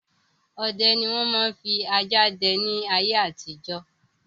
Ọdẹ ni wọn máa ń fi ajá dẹ ni ayé àtijọ́.